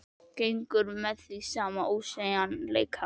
Gengur að því með sama ósveigjanleika.